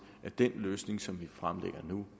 at den løsning som vi fremlægger nu